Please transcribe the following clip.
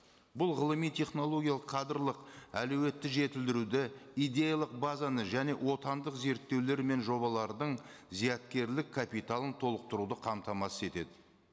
бұл ғылыми технологиялық кадрлық әлеуетті жетілдіруді идеялық базаны және отандық зерттеулер мен жобалардың зияткерлік капиталын толықтыруды қамтамасыз етеді